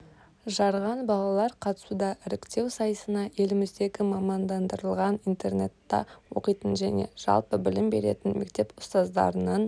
жарған балалар қатысуда іріктеу сайысына еліміздегі мамандандырылған интернатта оқитын және жалпы білім беретін мектеп ұстаздарының